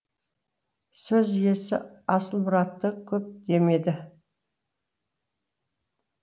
сөз иесі асылмұратты көп демеді